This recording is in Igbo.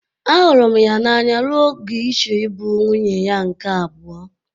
Ahụrụ m ya n'anya ruo ogo ịchọ ịbụ nwunye ya nke abụo.